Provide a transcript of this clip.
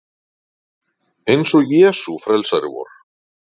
Eins og Jesús frelsari vor.